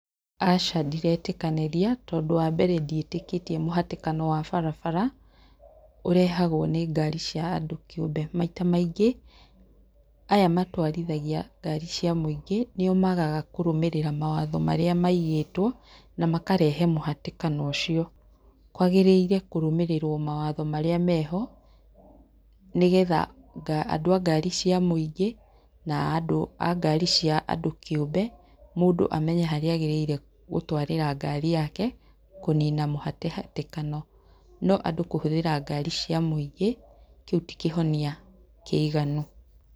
Aca ndiretĩkanĩria tondu wa mbere ndiĩtĩkĩtie mũhatĩkano wa barabara, ũrehagwo nĩ ngari cĩa andũ kĩũmbe, maita maingĩ aya matwarithagia ngari cia mũingĩ nĩo magaga kũrũmĩrĩra mawatho maria maigĩtwo na makarehe mũhatĩkano ũcio, kwagĩrĩire kũrũmĩrĩrwo mawatho maria meho, nigetha andũ a ngari cia mũingĩ na andũ a ngari cia andũ kĩũmbe mũndũ amenye harĩa agĩrĩire gũtwarĩra ngari yake kũnina mũhatĩhatĩkano, no andũ kũhũthĩra ngari cia mũingĩ kĩu ti kĩhonia kĩiganu.